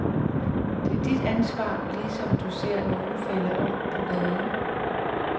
Det er dit ansvar, ligesom når du ser nogen falde om på gaden.